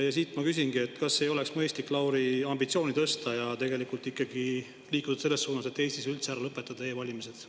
Ja siit ma küsingi: kas ei oleks mõistlik, Lauri, ambitsiooni tõsta ja tegelikult ikkagi liikuda selles suunas, et Eestis üldse ära lõpetada e-valimised?